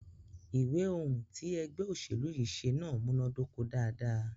Ìwé ohùn tí ègbé òṣèlú yí ṣe náà múnàdoko dáadáa.